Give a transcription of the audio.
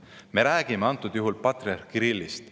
Me räägime praegusel juhul patriarh Kirillist.